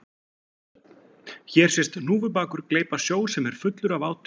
Hér sést hnúfubakur gleypa sjó sem er fullur af átu.